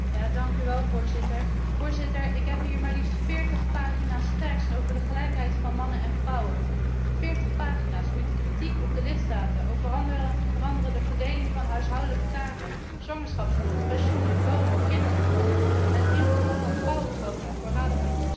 Ik heb hier maar liefst 40 pagina's tekst over de gelijkheid van mannen en vrouwen 40 pagina's met kritiek op de lidstaten over onder andere de verdeling van huishoudelijke taken, zwangerschapsverlof, pensioenen, lonen, kinderopvang, het invoeren van vrouwenquota voor raden van toezicht en zelfs voor parlementen.